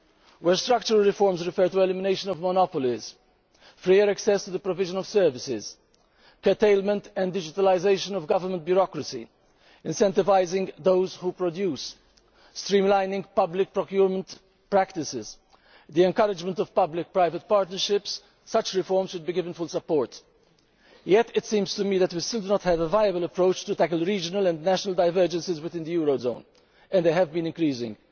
Where structural reforms refer to elimination of monopolies, freer access to the provision of services, curtailment and digitalisation of government bureaucracy, incentivising those who produce, streamlining public procurement practices and the encouragement of public private partnerships, such reforms should be given full support. Yet, it seems to me that we still do not have a viable approach to tackle regional and national divergences within the eurozone, and they have been increasing.